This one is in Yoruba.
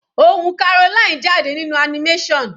Ohùn Caroline jáde nínú animation.